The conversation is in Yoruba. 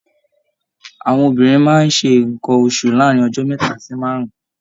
Àwọn obìnrin máa ṣe nnkan oṣù láàrin ọjọ mẹta sí márùn.